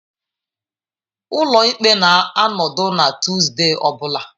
Ụlọ ikpe na-anọdụ na Tuesday ọ bụla.